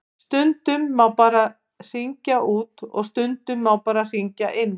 Stundum má bara hringja út og stundum má bara hringja inn.